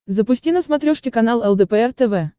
запусти на смотрешке канал лдпр тв